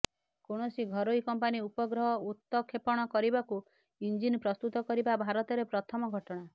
କୌଣସି ଘରୋଇ କମ୍ପାନୀ ଉପଗ୍ରହ ଉତକ୍ଷେପଣ କରିବାକୁ ଇଞ୍ଜିନ ପ୍ରସ୍ତୁତ କରିବା ଭାରତରେ ପ୍ରଥମ ଘଟଣା